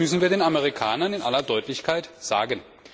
Und das müssen wir den Amerikanern in aller Deutlichkeit sagen.